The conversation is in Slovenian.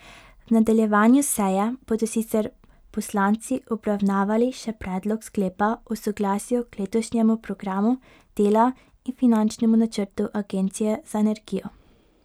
V nadaljevanju seje bodo sicer poslanci obravnavali še predlog sklepa o soglasju k letošnjemu programu dela in finančnemu načrtu agencije za energijo.